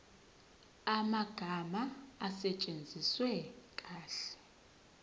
amagama asetshenziswe kahle